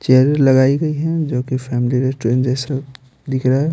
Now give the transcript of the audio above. Chair लगाई गई है जो कि फैमिली रेस्टोरेंट जैसा दिख रहा है।